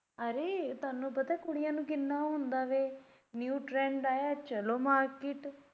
ਅਰੇ ਤੁਹਾਨੂੰ ਪਤਾ ਕੁੜੀਆਂ ਨੂੰ ਕਿੰਨਾ ਹੁੰਦਾ ਵੇ new trend ਆਇਆ ਚੱਲੋ market